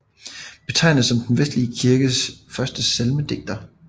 Betegnes som den vestlige kirkes første salmedigter